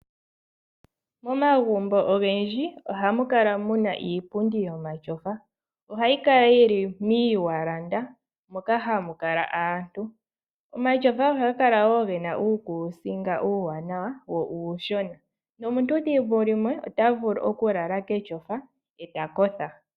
Momagumbo ogendji ohamu kala mu na iipundi yomatyofa. Ohayi kala yi li momawalanda moka hamu kala aantu. Omatyofa ohaga kala wo ge na uukuusinga uuwanawa wo uushona nomuntu thimbo limwe ota vulu okulala ketyofa e ta kotha.